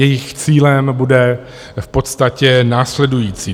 Jejich cílem bude v podstatě následující.